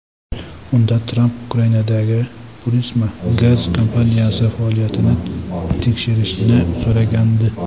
Unda Tramp Ukrainadagi Burisma gaz kompaniyasi faoliyatini tekshirishni so‘ragandi.